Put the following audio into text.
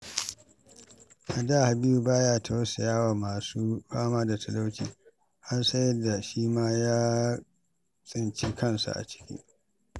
A da, Habibu ba ya tausaya wa masu fama da talauci, har sai da shi ma ya tsinci kansa a ciki.